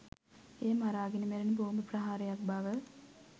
එය මරාගෙන මැරෙන බෝම්බ ප්‍රහාරයක් බව